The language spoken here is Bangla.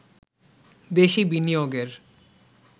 দেশি বিনিয়োগের